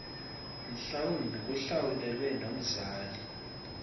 mhlawumbi kuhlawulelwe nomzali